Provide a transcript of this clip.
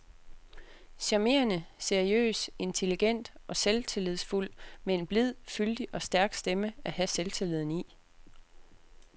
Charmerende, seriøs, intelligent og selvtillidsfuld med en blid, fyldig og stærk stemme at have selvtilliden i.